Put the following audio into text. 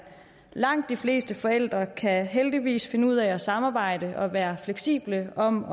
langt de fleste forældre kan heldigvis finde ud af samarbejde og være fleksible om